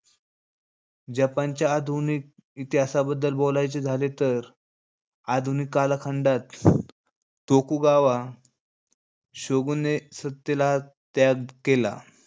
जपानच्या आधुनिक इतिहासाबद्दल बोलायचे झाले तर आधुनिक कालखंडात तोकुगावा शोगूनने सत्तेला त्याग केला.